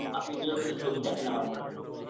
আপনি নিয়মিত ছবি দেখেন আমার মনে হলো